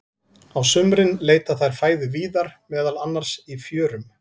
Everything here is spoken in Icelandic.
Á sumrin leita þær fæðu víðar, meðal annars í fjörum.